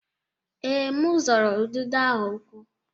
Ee, m zọrọ ududo ahụ ụkwụ.